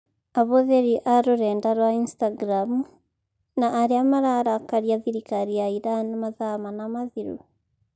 Ahũthĩri a rũrenda rwa Instagram na arĩa mararakaria thirikari ya Iran mathaa mana mathiru